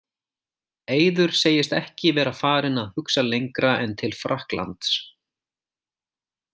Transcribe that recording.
Eiður segist ekki vera farinn að hugsa lengra en til Frakklands.